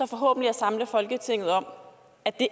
forhåbentlig samle folketinget om at det